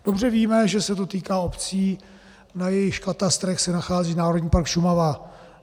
Dobře víme, že se to týká obcí, na jejichž katastrech se nachází Národní park Šumava.